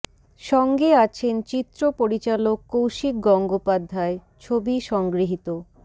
সঙ্গে আছেন চিত্র পরিচালক কৌশিক গঙ্গোপাধ্যায় ছবি সংগৃহীত